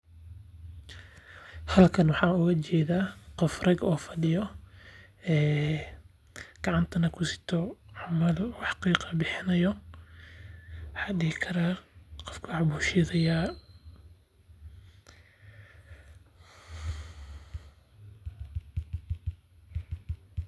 Halkan waxaan ooga jeeda qof rag ah oo fadiyo gacantana ku suti wax qiiqayo waxaan dihi karaa waxbuu shiodaya qofkan.